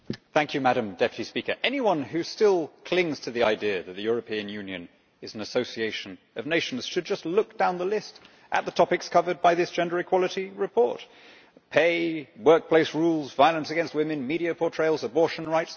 Madam President, anyone who still clings to the idea that the European Union is an association of nations should just look down the list at the topics covered by this gender equality report pay, workplace rules, violence against women, media portrayals, abortion rights.